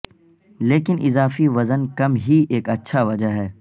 لیکن اضافی وزن کم ہی ایک اچھا وجہ ہے